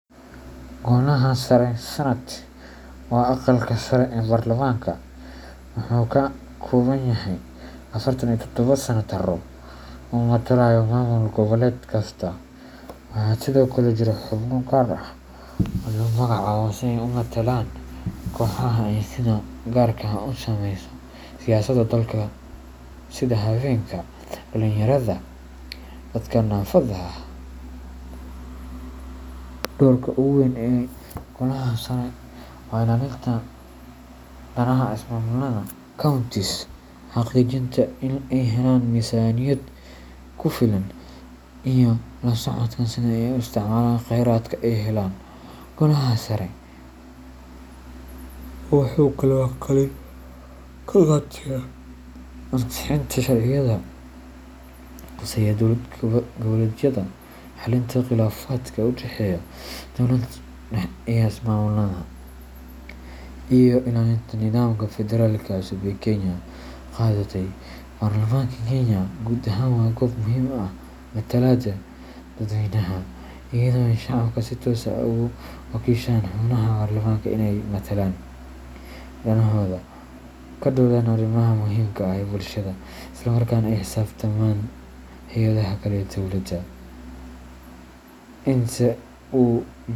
Golaha Sare Senate waa aqalka sare ee baarlamaanka, wuxuuna ka kooban yahay afartan iyo todoba senataro oo matalaya ismaamul goboleed kasta. Waxaa sidoo kale jira xubno gaar ah oo la magacaabo si ay u matalaan kooxaha ay sida gaarka ah u saameyso siyaasadda dalka sida haweenka, dhalinyarada, iyo dadka naafada ah. Doorka ugu weyn ee Golaha Sare waa ilaalinta danaha ismaamullada counties, xaqiijinta in ay helaan miisaaniyad ku filan, iyo la socodka sida ay u isticmaalaan kheyraadka ay helaan. Golaha Sare wuxuu kaloo kaalin ka qaataa ansixinta sharciyada khuseeya dowlad goboleedyada, xallinta khilaafaadka u dhexeeya dowladda dhexe iyo ismaamullada, iyo ilaalinta nidaamka Federaalka cusub ee Kenya qaadatay. Baarlamaanka Kenya guud ahaan waa goob muhiim u ah matalaadda dadweynaha, iyadoo ay shacabka si toos ah ugu wakiishaan xubnaha baarlamaanka inay metelaan danahooda, ka doodaan arrimaha muhiimka u ah bulshada, islamarkaana la xisaabtamaan hay’adaha kale ee dowladda inta u.